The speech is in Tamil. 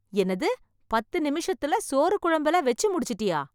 என்னது ,பத்து நிமிஷத்துல சோறு குழம்பு எல்லாம் வச்சு முடிச்சிட்டியா!